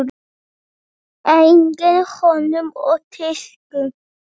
Einnig hönnun og tísku.